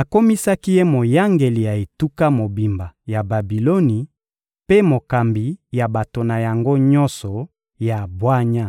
akomisaki ye moyangeli ya etuka mobimba ya Babiloni mpe mokambi ya bato na yango nyonso ya bwanya.